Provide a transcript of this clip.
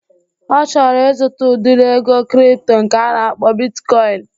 Ọ chọrọ ịzụta udiri ego kripto nke a na-akpọ bitkọin